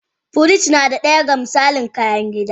Firij na daya da ga misalin kayan gida.